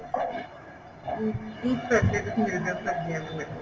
ਅਮ ਕੀ facilities ਮਿਲ ਜਾ ਸਕਦੀਆਂ ਨੇ ਮੈਨੂੰ